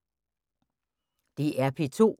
DR P2